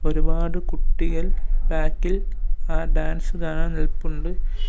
ഒരുപാട് കുട്ടികൾ ബേക്ക് ഇൽ ഏഹ് ഡാൻസ് കാണാൻ നിൽപ്പുണ്ട്.